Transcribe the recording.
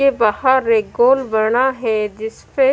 के बाहर एक गोल बना है जिसपे--